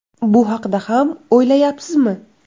Bu haqda ham o‘ylayapsizmi?